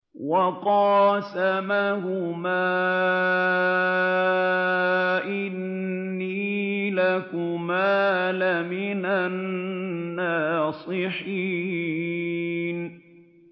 وَقَاسَمَهُمَا إِنِّي لَكُمَا لَمِنَ النَّاصِحِينَ